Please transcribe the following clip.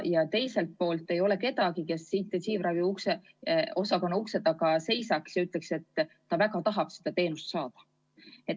Ja teiselt poolt ei ole kedagi, kes intensiivraviosakonna ukse taga seisaks ja ütleks, et ta väga tahaks seda teenust saada.